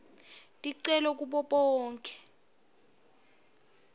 ticelo kubo bonkhe